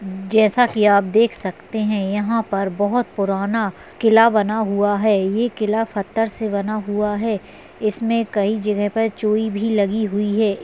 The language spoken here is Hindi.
जैसा की आप देख सकते है यहाँ पर बहुत पुराना किला बना हुआ है ये किला पत्थर से बना हुआ है इसमे कही जगह पे चोई भी लगी हुई है।